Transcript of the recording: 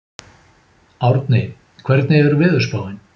Árni, hvernig er veðurspáin?